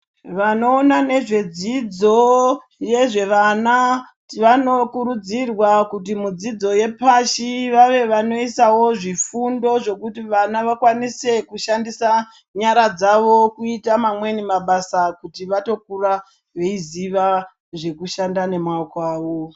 Vano ona nezve dzidzo yezve vana vanokurudzirwa kuti mudzidzo yepashi vave vanoisawo zvifundo zvokuti vana vakwanise kushandisa nyara dzavo kuiita mamweni mabasa kuti vatokura veiziva zveku shanda nemako avo.